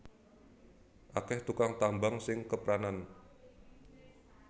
Akeh tukang tambang sing kepranan